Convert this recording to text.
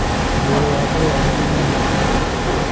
mwĩrĩ wa mũrũaru nĩ mũng'aru